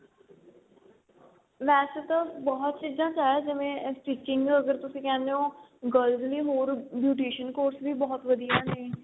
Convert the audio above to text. ਵੈਸੇ ਤਾਂ ਬਹੁਤ ਚੀਜ਼ਾਂ ਚ ਆਇਆ ਜਿਵੇਂ stitching ਅਗਰ ਤੁਸੀਂ ਕਹਿਨੇ ਓ girls ਵੀ ਹੋਰ beautician course ਵੀ ਬਹੁਤ ਵਧੀਆ ਨੇ